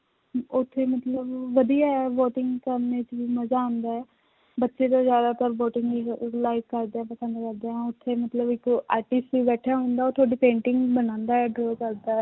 ਉੱਥੇ ਮਤਲਬ ਵਧੀਆ ਹੈ boating ਕਰਨੀ 'ਚ ਵੀ ਮਜ਼ਾ ਆਉਂਦਾ ਹੈ, ਬੱਚੇੇ ਜੋ ਜ਼ਿਆਦਾਤਰ boating ਨੀ ਅਹ like ਕਰਦੇ ਪਸੰਦ ਕਰਦੇ ਹੈ, ਉੱਥੇ ਮਤਲਬ ਇੱਕ artist ਵੀ ਬੈਠਾ ਹੁੰਦਾ ਉਹ ਤੁਹਾਡੀ painting ਬਣਾਉਂਦਾ ਹੈ draw ਕਰਦਾ ਹੈ